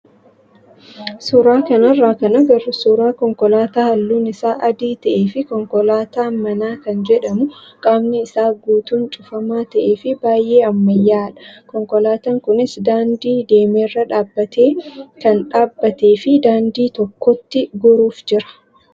Suuraa kanarraa kan agarru suuraa konkolaataa halluun isaa adii ta'ee fi konkolaataa manaa kan jedhamu qaamni isaa guutuun cufamaa ta'ee fi baay'ee ammayyaa'aadha. Konkolaataan kunis daandii dameerra dhaabbatee kan dhaabbatee fi daandii tokkotti goruuf jira.